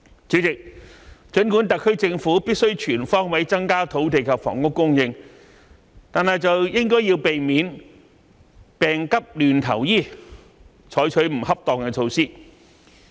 主席，儘管特區政府必須全方位增加土地及房屋供應，卻應該避免"病急亂投醫"而採取不恰當的措施。